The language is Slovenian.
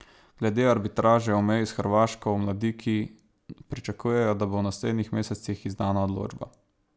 Glede arbitraže o meji s Hrvaško v Mladiki pričakujejo, da bo v naslednjih mesecih izdana odločba.